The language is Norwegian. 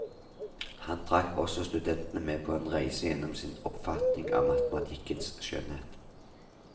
Han trakk også studentene med på en reise gjennom sin oppfatning av matematikkens skjønnhet.